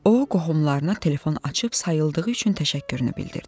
O qohumlarına telefon açıb sayıldığı üçün təşəkkürünü bildirdi.